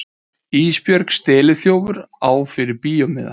Ísbjörg steliþjófur á fyrir bíómiða.